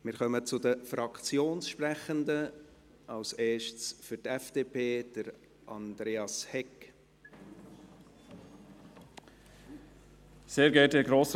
Wir kommen zu den Fraktionssprechenden: zuerst für die FDP, Andreas Hegg.